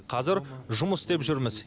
қазір жұмыс істеп жүрміз